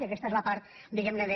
i aquesta és la part diguem ne de